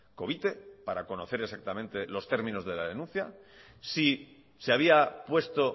covite para conocer exactamente los términos de la denuncia si se había puesto